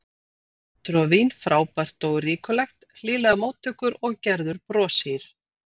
Matur og vín frábært og ríkulegt, hlýlegar móttökur og Gerður broshýr.